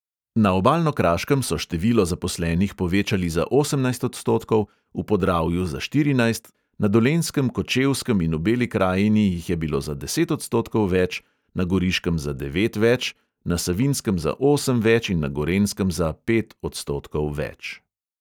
Na obalno-kraškem so število zaposlenih povečali za osemnajst odstotkov, v podravju za štirinajst, na dolenjskem, kočevskem in v beli krajini jih je bilo za deset odstotkov več, na goriškem za devet več, na savinjskem za osem več in na gorenjskem za pet odstotkov več.